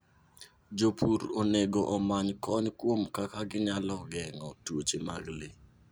Jopur onego omany kony kuom kaka ginyalo geng'o tuoche mag le.